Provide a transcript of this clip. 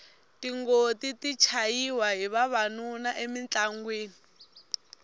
tingoti ti chayiwa hi vavanuna emintlangwini